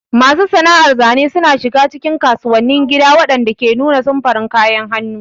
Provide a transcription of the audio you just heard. Masu sana'ar zane suna shiga cikin kasuwannin gida waɗanda ke nuna samfuran kayan hannu.